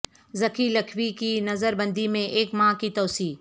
ذکی لکھوی کی نظربندی میں ایک ماہ کی توسیع